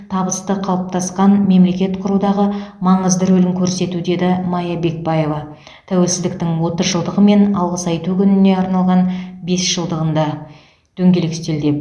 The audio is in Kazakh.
табысты қалыптасқан мемлекет құрудағы маңызды рөлін көрсету деді мая бекбаева тәуелсіздіктің отыз жылдығы мен алғыс айту күніне арналған бес жылдығында дөңгелек үстелде